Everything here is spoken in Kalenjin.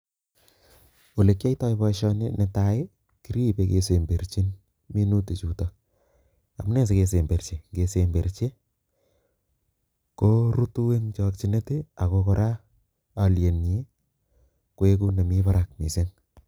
Ole kiyaitoi boisioni ne tai, ko kiripei kesemberchin minutik chuto, amune sikesemberchi, kesemberchi korutu eng chokchinet ako kora alienyin koeku nemi barak misng.